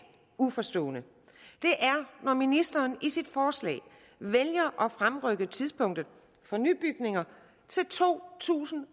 uforstående er når ministeren i sit forslag vælger at fremrykke tidspunktet for nybygninger til to tusind og